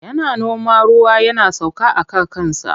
Yana noma ruwa yana sauka aka kansa.